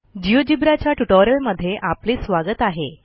GeoGebra च्या ट्युटोरियलमध्ये आपले स्वागत आहे